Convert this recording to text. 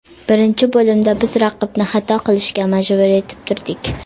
Birinchi bo‘limda biz raqibni xato qilishga majbur etib turdik.